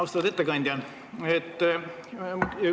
Austatud ettekandja!